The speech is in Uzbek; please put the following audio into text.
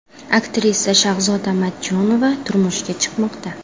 Aktrisa Shahzoda Matchonova turmushga chiqmoqda.